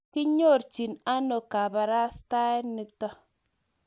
kiinyorchini ano kabarastae nito?